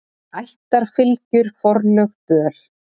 Ættarfylgjur, forlög, böl.